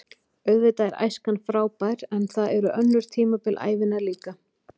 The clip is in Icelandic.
Auðvitað er æskan frábær en það eru önnur tímabil ævinnar líka.